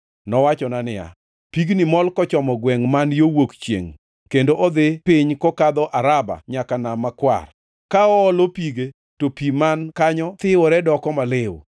Nowachona niya, “Pigni mol kochomo gwengʼ man yo wuok chiengʼ kendo odhi piny kokadho Araba nyaka e Nam Makwar. Ka oolo pige, to pi man kanyo thiwore doko maliw.